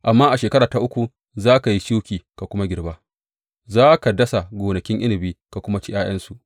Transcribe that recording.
Amma a shekara ta uku za ka yi shuki ka kuma girba, za ka dasa gonakin inabi ka kuma ci ’ya’yansu.